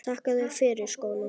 Þakka þér fyrir skóna.